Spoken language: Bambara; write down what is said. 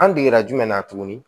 An degera jumɛn na tuguni